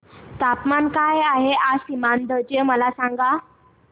तापमान काय आहे आज सीमांध्र चे मला सांगा